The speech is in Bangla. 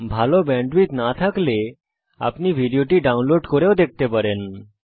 যদি ভাল ব্যান্ডউইডথ না থাকে তাহলে আপনি ভিডিও টি ডাউনলোড করে দেখতে পারেন